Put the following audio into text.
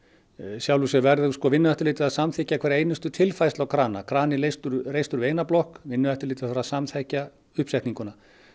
sjálfu sér verður Vinnueftirlitið að samþykkja hverja einustu tilfærslu á krana krani er reistur reistur við eina blokk Vinnueftirlitið þarf að samþykkja uppsetninguna